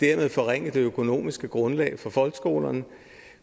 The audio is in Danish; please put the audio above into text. har forringet det økonomiske grundlag for folkeskolerne